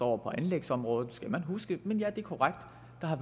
over på anlægsområder det skal man huske men ja det er korrekt